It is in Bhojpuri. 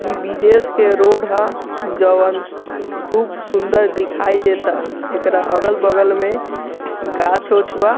इ विदेश के रोड ह जोवन खूब सुंदर दिखाई देता एकरा अगल-बगल में गाछ उछ बा।